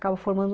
Acaba formando